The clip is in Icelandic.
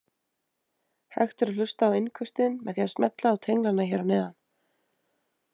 Hægt er að hlusta á innköstin með því að smella á tenglana hér að neðan.